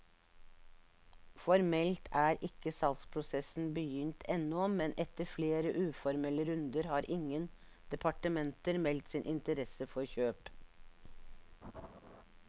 Formelt er ikke salgsprosessen begynt ennå, men etter flere uformelle runder har ingen departementer meldt sin interesse for kjøp.